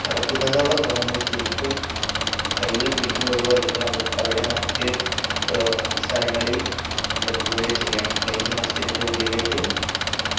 കടക്കുന്നോടൊപ്പം നമ്മള് ചെരുപ്പ് കയ്യിൽ പിടിക്കുകയോ അല്ലെങ്കിൽ അവ് അവിടെ മറ്റ് ഏർ സ്ഥലങ്ങളിൽ വെക്കുകയോ ചെയ്യണം ഡൽഹി മസ്ജിദിന്റെ ഉള്ളിലേക്ക്